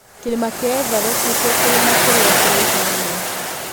Kĩrĩma kĩa Everest nĩkĩo kĩrĩma kĩrĩa kĩraihu mũno.